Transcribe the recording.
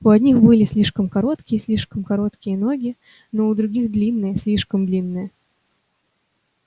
у одних были короткие слишком короткие ноги у других длинные слишком длинные